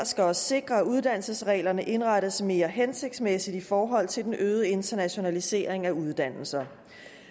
skal også sikre at uddannelsesreglerne indrettes mere hensigtsmæssigt i forhold til den øgede internationalisering af uddannelserne